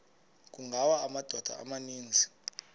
kungawa amadoda amaninzi